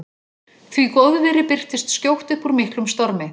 Því góðviðri birtist skjótt upp úr miklum stormi.